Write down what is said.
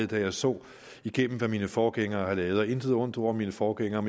da jeg så igennem hvad mine forgængere havde lavet og intet ondt ord om mine forgængere